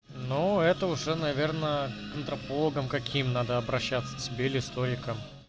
ну это уже наверное это флагом каким надо обращаться тебе или стройка